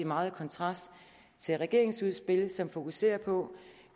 meget i kontrast til regeringens udspil som fokuserer på